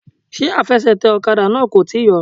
Ṣé afẹsẹ̀tẹ̀ ọ̀kadà náà kò tíì yọ?